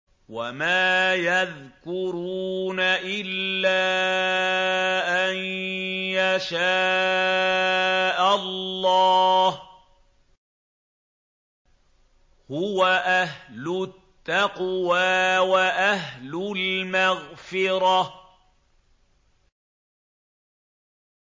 وَمَا يَذْكُرُونَ إِلَّا أَن يَشَاءَ اللَّهُ ۚ هُوَ أَهْلُ التَّقْوَىٰ وَأَهْلُ الْمَغْفِرَةِ